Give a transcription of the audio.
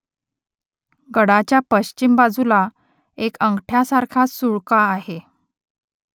गडाच्या पश्चिम बाजूला एक अंगठ्यासारखा सुळका आहे